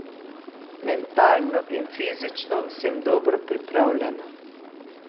Mentalno in fizično sem dobro pripravljena.